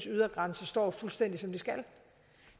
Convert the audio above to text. ydergrænser står fuldstændig som de skal